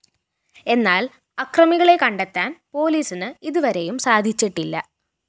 എന്നാല്‍ അക്രമികളെ കണ്ടെത്താന്‍ പോലീസിന് ഇതുവരെയും സാധിച്ചിട്ടില്ല